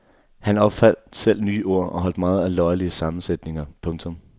Han opfandt selv nye ord og holdt meget af løjerlige sammensætninger. punktum